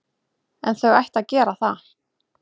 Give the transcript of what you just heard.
En þau ættu að gera það.